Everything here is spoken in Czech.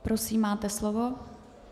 Prosím, máte slovo.